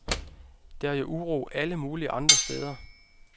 Der er jo uro alle mulige andre steder.